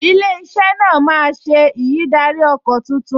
Ilé-iṣẹ́ náà máa ṣe ìyídáríọkọ̀ tuntun